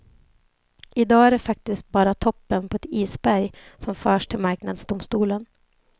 I dag är det faktiskt bara toppen på ett isberg som förs till marknadsdomstolen.